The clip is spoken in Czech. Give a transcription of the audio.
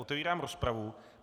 Otevírám rozpravu.